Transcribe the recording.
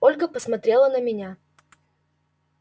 ольга посмотрела на меня